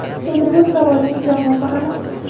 Endi bu savolning javobi aniq.